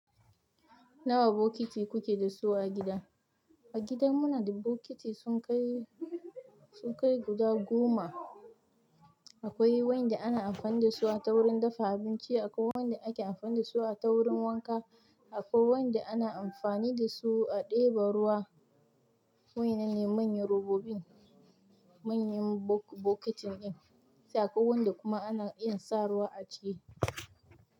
Nawa bokiti kuke da su a gida? A gida mu na da bokiti sun kai sun kai guda goma. Akwai wa'yanda ana amfani da su a ta wurin dafa abinci, akwai wa'yanda ake amfani da su a ta wurin wanka, akwai wa'yanda ana amfani da su a ɗeba ruwa. Wa'yanan ne manyan robobin, manyan bokitin ɗin. Akwai wanda kuma ana iya sa ruwa a ciki.